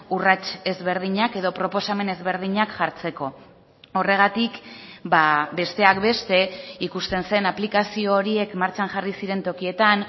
urrats ezberdinak edo proposamen ezberdinak jartzeko horregatik besteak beste ikusten zen aplikazio horiek martxan jarri ziren tokietan